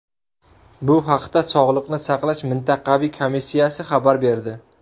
Bu haqda Sog‘liqni saqlash mintaqaviy komissiyasi xabar berdi .